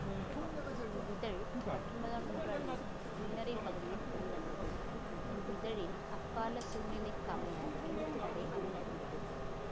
இவ்விதழ் பத்தொன்பதாம் நூற்றாண்டின் பின்னரைப் பகுதியில் வெளிவந்தது இவ்விதழில் அக்கால சூழ்நிலைக்கமைய எழுத்து நடை அமைந்திருந்தது